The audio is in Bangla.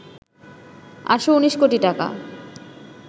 ৮১৯ কোটি টাকা